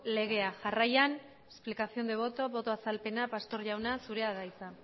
legea jarraian explicación de voto boto azalpena pastor jauna zurea da hitza